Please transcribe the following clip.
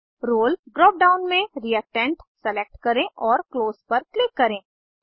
रोले drop down में reactant select करें और क्लोज पर क्लिक करें